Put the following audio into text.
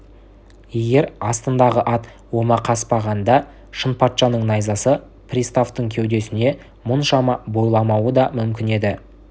егер астындағы ат омақаспағанда шынпатшаның найзасы приставтың кеудесіне мұншама бойламауы да мүмкін еді